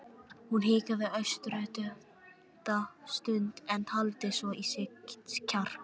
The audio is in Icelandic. Hún hikaði örstutta stund en taldi svo í sig kjark.